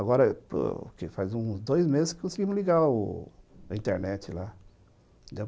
Agora, faz uns dois meses que conseguimos ligar o a internet lá.